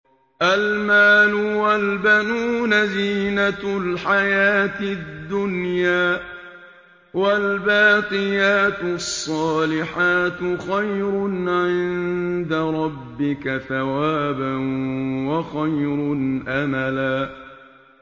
الْمَالُ وَالْبَنُونَ زِينَةُ الْحَيَاةِ الدُّنْيَا ۖ وَالْبَاقِيَاتُ الصَّالِحَاتُ خَيْرٌ عِندَ رَبِّكَ ثَوَابًا وَخَيْرٌ أَمَلًا